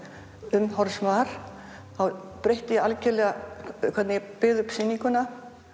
umhorfs var þá breytti ég algerlega um hvernig ég byggði upp sýninguna